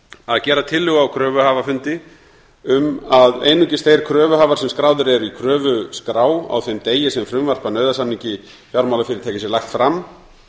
að gera tillögu á kröfuhafafundi um að einungis þeir kröfuhafa sem skráðir eru í kröfuskrá á þeim degi sem frumvarp að nauðasamningi fjármálafyrirtækis er lagt fram